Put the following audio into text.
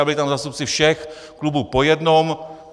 A byli tam zástupci všech klubů po jednom.